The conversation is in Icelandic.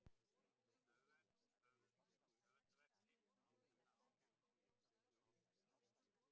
við höfundarverk sitt, og má kenna áhrif frá Þórbergi í báðum þessum verkum.